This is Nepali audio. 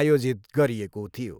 आयोजित गरिएको थियो।